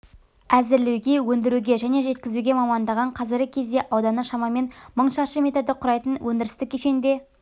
әзірлеуге өндіруге және жеткізуге маманданған қазіргі кезде ауданы шамамен мың шаршы метрді құрайтын өндірістік кешенде